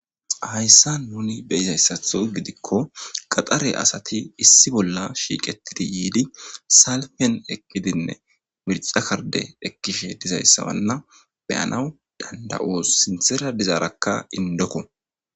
Haysa nuni beyizasatho gidikko gaxare asati issi bolla shiqetidi yidi salpen eqidine mirca karide ekishe dizaysa beyana dandayos. Sinthara de'izara indokko